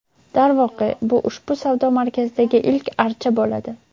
Darvoqe, bu ushbu savdo markazidagi ilk archa bo‘ladi.